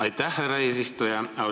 Aitäh, härra eesistuja!